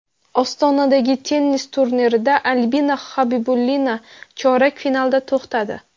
Ostonadagi tennis turnirida Albina Xabibulina chorak finalda to‘xtadi.